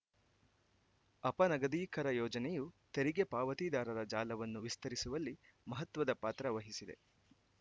ಅಪನಗದೀಕರ ಯೋಜನೆಯು ತೆರಿಗೆ ಪಾವತಿದಾರರ ಜಾಲವನ್ನು ವಿಸ್ತರಿಸುವಲ್ಲಿ ಮಹತ್ವದ ಪಾತ್ರ ವಹಿಸಿದೆ